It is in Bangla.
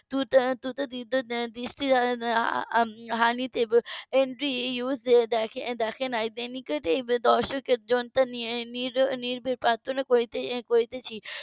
. দৃষ্টি হানিতে . দেখেন . দর্শকের . নীরবে প্রার্থনা করছে